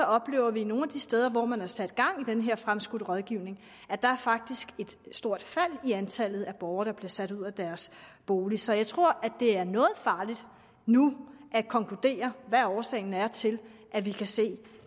oplever vi nogle af de steder hvor man har sat gang i den her fremskudte rådgivning at der faktisk et stort fald i antallet af borgere der bliver sat ud af deres bolig så jeg tror det er noget farligt nu at konkludere hvad årsagen er til at vi kan se